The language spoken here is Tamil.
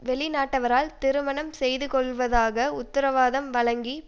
வெளிநாட்டவரால் திருமணம் செய்து கொள்வதாக உத்தரவாதம் வழங்கி